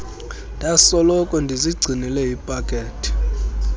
ndasoloko ndizigcinele ipakethe